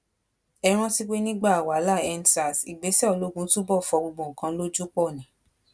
ẹ rántí pé nígbà wàhálàendsars ìgbésẹ ológun túbọ fọ gbogbo nǹkan lójú pọ ni